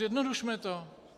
Zjednodušme to.